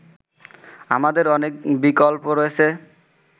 আমাদের অনেক বিকল্প রয়েছে